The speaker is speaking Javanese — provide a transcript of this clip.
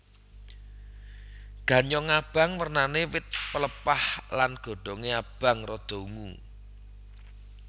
Ganyong abang wernané wit pelepah lan godhongé abang rada ungu